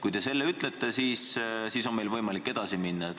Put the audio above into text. Kui te seda ütlete, siis on meil võimalik edasi minna.